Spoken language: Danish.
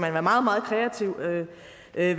være